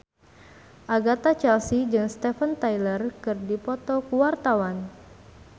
Agatha Chelsea jeung Steven Tyler keur dipoto ku wartawan